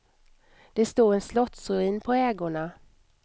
Det stod en slottsruin på ägorna.